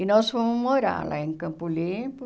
E nós fomos morar lá em Campo Limpo.